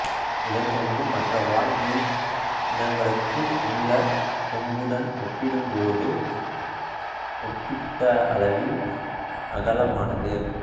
இதன் கொம்பு மற்ற வாள் மீன் இனங்களுக்கு உள்ள கொம்புடன் ஒப்பிடும்போது ஒப்பீட்டளவில் அகலமானது